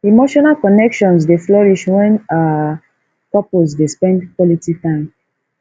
emotional connections dey flourish when um couples dey spend quality time